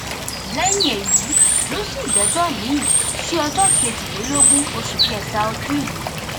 lẹyìn èyí ló sún ìgbẹjọ miín sí ọjọ kejìlélógún oṣù kẹta ọdún yìí